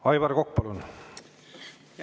Aivar Kokk, palun!